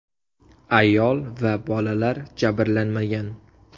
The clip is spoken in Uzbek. Ayol va bolalar jabrlanmagan.